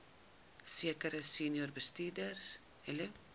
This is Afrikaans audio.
sekere senior bestuurders